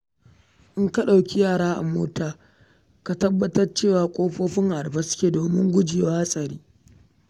In ka ɗauki yara a mota ka tabbatar cewa ƙofofin a rufe suke domin gujewa haɗari.